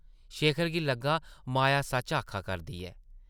शेखर गी लग्गा माया सच्च आखा करदी ऐ ।